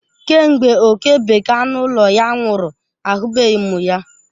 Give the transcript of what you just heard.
Kemgbe oke bekee anụ ụlọ ya nwụrụ, ahụbeghị m ya.